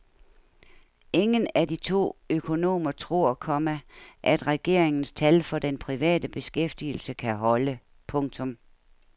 Ingen af de to økonomer tror, komma at regeringens tal for den private beskæftigelse kan holde. punktum